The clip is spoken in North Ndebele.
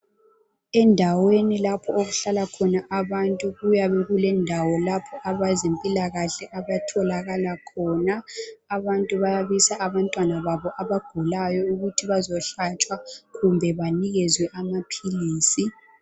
Endaweni lapho okuhlala khona abantu kuyabe kulendawo lapho abezempilakahle abatholaka khona. Abantu bayabisa abantwana babo abagulayo ukuthi bazohlatshwa kumbe banikezwe amaphilisi.